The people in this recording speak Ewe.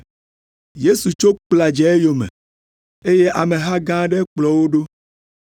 Yesu tso kpla dze eyome, eye ameha gã aɖe kplɔ wo ɖo.